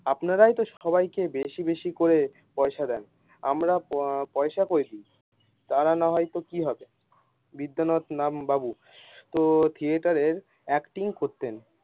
আপনারাই সবাই কে বেশি বেশি করে পয়সা দেন আমরা প পয়সা করে দেয় তারা নাহয় তো কি হবে বিদ্যানাথ নাম বাবু। তো থিযেটারের acting করতেন।